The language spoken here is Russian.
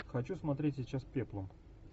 хочу смотреть сейчас пеплум